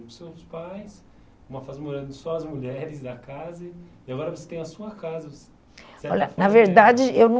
com seus pais, uma fase morando só as mulheres da casa, e agora você tem a sua casa. Olha, na verdade, eu não